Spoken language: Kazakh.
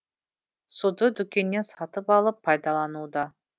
суды дүкеннен сатып алып пайдалануда